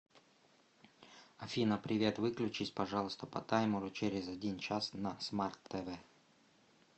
афина привет выключись пожалуйста по таймеру через один час на смарт тв